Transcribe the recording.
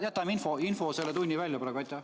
Jätame infotunni praegu välja.